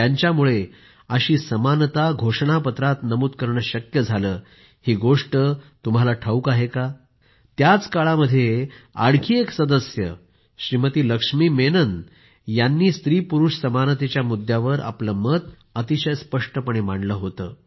त्यांच्यामुळे अशी समानता घोषणापत्रात नमूद करणे शक्य झाले ही गोष्ट तुम्हाला ठाऊक आहे त्याच काळामध्ये आणखी एक सदस्य श्रीमती लक्ष्मी मेनन यांनी स्त्रीपुरूष समानतेच्या मुद्यावर आपले मत अतिशय स्पष्टपणे मांडले होते